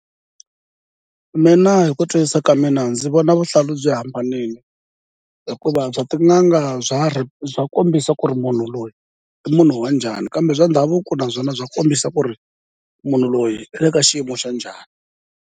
Mina hi ku twisisa ka mina ndzi vona vuhlalu byi hambanile, hikuva bya tin'anga bya kombisa ku ri munhu loyi i munhu wa njhani, kambe bya ndhavuko naswona bya kombisa ku ri munhu loyi i le ka xiyimo xa njhani.